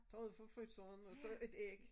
Tager hun fra fryseren og så et æg